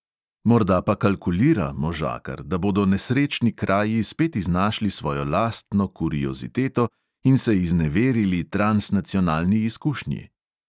Morda pa kalkulira, možakar, da bodo nesrečni kraji spet iznašli svojo lastno kurioziteto in se izneverili transnacionalni izkušnji?